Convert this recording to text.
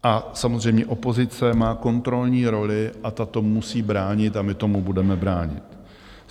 A samozřejmě opozice má kontrolní roli a ta to musí bránit a my tomu budeme bránit.